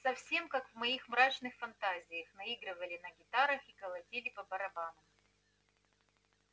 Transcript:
совсем как в моих мрачных фантазиях наигрывали на гитарах и колотили по барабанам